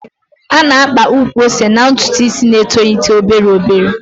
A na-akpa udiri ukwu ose n'ntụtụ isi na-etolite obere obere.